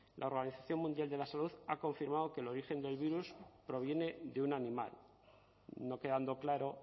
la organización mundial de la salud ha confirmado que el origen del virus proviene de un animal no quedando claro